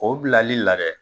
O bilali la dɛ!